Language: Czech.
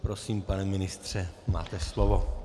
Prosím, pane ministře, máte slovo.